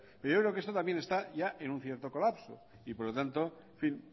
pero yo creo que esto también está ya en un cierto colapso y por lo tanto en fin